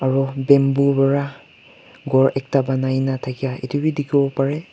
aru bamboo wara gor ekta banai na thakia itu bi dikhiwo parey.